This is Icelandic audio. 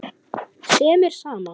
sem er sama og